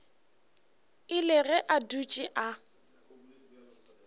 ile ge a dutše a